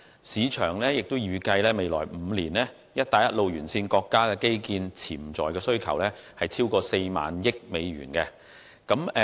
市場亦預計在未來5年，"一帶一路"沿線國家的基建潛在需求超過4萬億美元。